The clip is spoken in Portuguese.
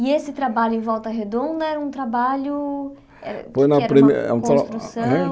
E esse trabalho em Volta Redonda era um trabalho Foi na primeira O que é que era uma construção?